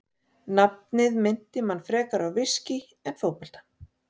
Nafnið minnti mann frekar á viskí en fótbolta.